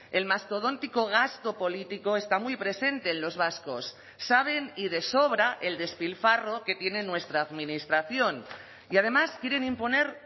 el mastodóntico gasto político está muy presente en los vascos saben y de sobra el despilfarro que tienen nuestra administración y además quieren imponer